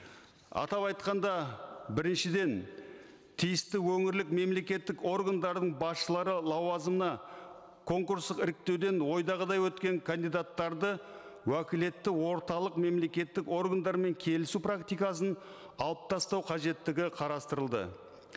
атап айтқанда біріншіден тиісті өңірлік мемлекеттік органдардың басшылары лауазымына конкурстық іріктеуден ойдағыдай өткен кандидаттарды уәкілетті орталық мемлекеттік органдарымен келісу практикасын алып тастау қажеттігі қарастырылды